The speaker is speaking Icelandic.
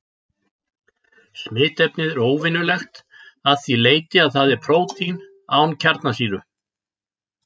Smitefnið er óvenjulegt að því leyti að það er prótín án kjarnasýru.